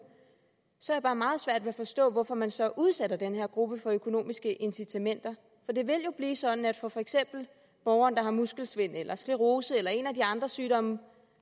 så har jeg bare meget svært ved at forstå hvorfor man så udsætter den her gruppe for økonomiske incitamenter for det vil jo blive sådan at for for eksempel borgeren der har muskelsvind eller sklerose eller en af de andre sygdomme